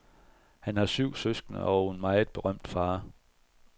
Han har syv søskende og en meget berømt far.